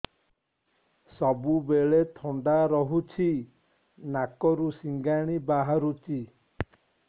ସବୁବେଳେ ଥଣ୍ଡା ରହୁଛି ନାକରୁ ସିଙ୍ଗାଣି ବାହାରୁଚି